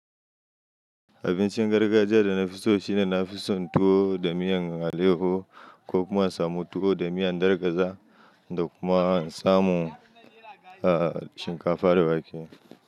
Abincin gargajiya da na fi so shine na fi so tuwo da miyan aleyaho ko kuma samu tuwo da miyan dargaza da kuma samu, ah, shinkafa da wake.